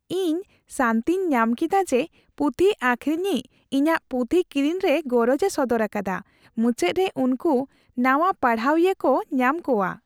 ᱤᱧ ᱥᱟᱹᱱᱛᱤᱧ ᱧᱟᱢ ᱠᱮᱫᱟ ᱡᱮ ᱯᱩᱛᱷᱤ ᱟᱠᱷᱨᱤᱧᱤᱡ ᱤᱧᱟᱹᱜ ᱯᱩᱛᱷᱤ ᱠᱤᱨᱤᱧ ᱨᱮ ᱜᱚᱨᱚᱡᱽ ᱮ ᱥᱚᱫᱚᱨ ᱟᱠᱟᱫᱟ ᱾ ᱢᱩᱪᱟᱹᱫ ᱨᱮ ᱩᱱᱠᱩ ᱱᱟᱣᱟ ᱯᱟᱲᱦᱟᱣᱤᱭᱟᱹ ᱠᱚ ᱧᱟᱢ ᱠᱚᱣᱟ ᱾